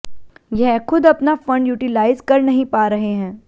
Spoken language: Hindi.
यह खुद अपना फंड यूटिलाइज कर नहीं पा रहे हैं